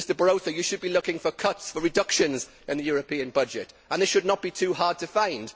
Mr Barroso, you should be looking for cuts, for reductions in the European budget and this should not be too hard to find.